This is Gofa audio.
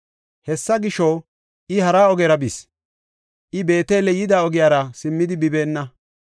Hessa gisho, I hara ogera bis; I Beetele yida ogiyara simmidi bibeenna.